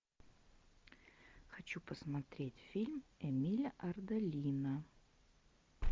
хочу посмотреть фильм эмиля ардолино